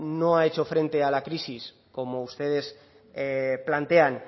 no ha hecho frente a la crisis como ustedes plantean